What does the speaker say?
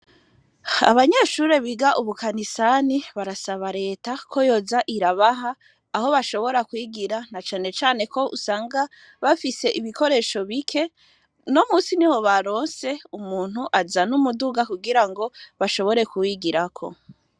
Abanyeshure biga ubukanisani barasaba Leta ko yoza irabaha aho bashobora kwigira, na canecane ko usanga bafise ibikoresho bike. Uno munsi niho baronse umuntu azana umuduga kugira ngo bashobore kuwigirako.